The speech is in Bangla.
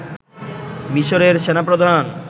মিসরের সেনাপ্রধান